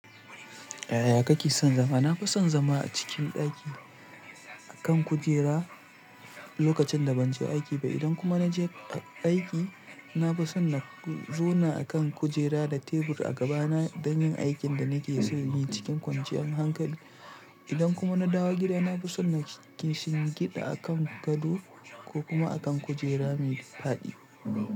Eh, ya kake son zama? Na fi son zama a cikin ɗaki a kan kujera lokacin da ban je aiki ba. Idan kuma na je aiki, na fi son na zauna a kan kujera da tebur a gabana don yin aikin da nake so yin cikin kwanciyar hankali. Idan kuma na dawo gida, na fi son na shingida a kan gado ko kuma a kan kujera mai fadi.